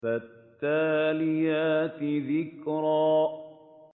فَالتَّالِيَاتِ ذِكْرًا